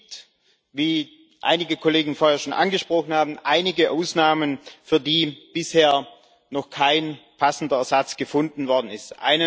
Es gibt wie einige Kollegen vorher schon angesprochen haben einige Ausnahmen, für die bisher noch kein passender Ersatz gefunden worden ist.